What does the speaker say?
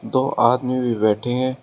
दो आदमी भी बैठे हैं।